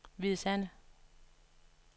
Hvide Sande